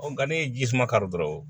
Nka n'i ye ji suma kari dɔrɔn